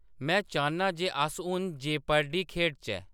में चाह्‌न्नां जे अस हून जेपर्डी खेढचै